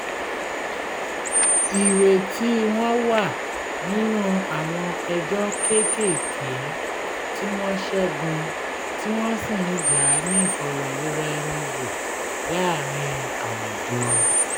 ìrètí wọn wà nínú àwọn ẹjọ́ kéékèèké tí wọ́n ṣẹ́gun tí wọ́n sì ń jà á ní ìfọ̀rọ̀rora-ẹni-wò láàárín àwùjọ